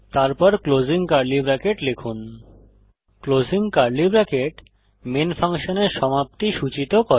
তারপর closing curly bracket লিখুন closing curly bracket main ফাংশনের সমাপ্তি সূচিত করে